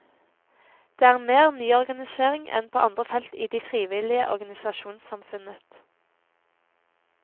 Det er mer nyorganisering enn på andre felt i det frivillige organisasjonssamfunnet.